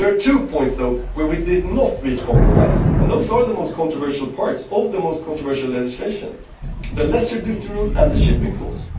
There are two points, though, where we did not reach compromise, and those are the most controversial parts of the most controversial legislation the lesser duty rule and the shipping clause.